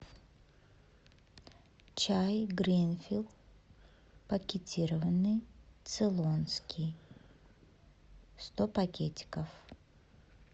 чай гринфилд пакетированный цейлонский сто пакетиков